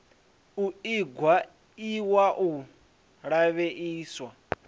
u iingwa iwa u lavheieswa